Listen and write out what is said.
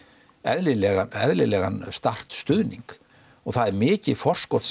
eðlilegan eðlilegan start stuðning og það er mikið forskot